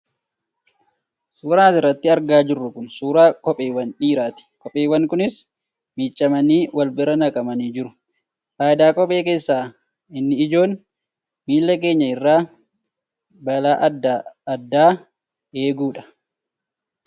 Suuraan as irratti argaa jirru kun suuraa kopheewwan dhiiraa ti. Kopheewwan kunniinis miicamanii wal bira naqamanii jiru. Faayidaa kophee keessaa inni ijoon miila keenya irraa balaa adda addaa eeguu dha.